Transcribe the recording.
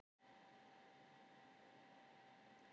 Það var líkt og ég hefði dáið og fæðst á ný.